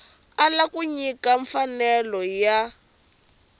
ala ku nyika mfanelo ya